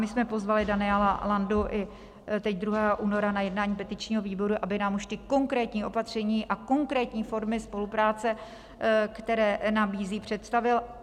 My jsme pozvali Daniela Landu i teď 2. února na jednání petičního výboru, aby nám už ta konkrétní opatření a konkrétní formy spolupráce, které nabízí, představil.